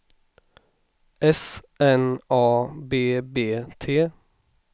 S N A B B T